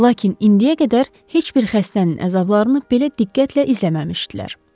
Lakin indiyə qədər heç bir xəstənin əzablarını belə diqqətlə izləməmişdilər.